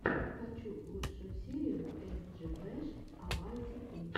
хочу лучшую серию эс джи бэш а вай ти пи